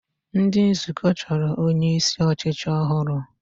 Ndị nzukọ chọrọ onyeisi ọchịchị ọhụrụ